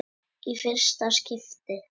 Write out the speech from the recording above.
Í fyrsta skipti.